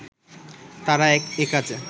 তারা একাজে